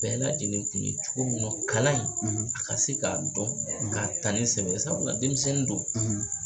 Bɛɛ lajɛlen kun ye cogo min na kalan in a ka se k'a dɔn k'a ta ni sɛbɛ ye sabula denmisɛnnin do.